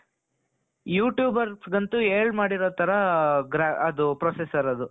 you tube ಅವರಿಗಂತೂ ಹೇಳಿ ಮಾಡಿರೋ ತರ ಅದು processor ಅದು.